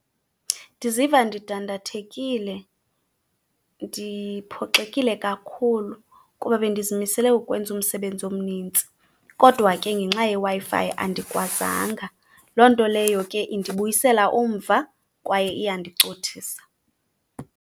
Ndiziva ndidandathekile, ndiphoxekile kakhulu kuba bendizimisele ukwenza umsebenzi omnintsi kodwa ke ngenxa yeWi-Fi andikwazanga. Loo nto leyo ke indibuyisela umva kwaye iyandicothisa.